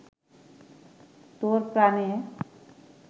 তোর প্রাণে